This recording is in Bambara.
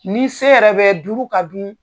Ni se yɛrɛ bɛ duuru ka dun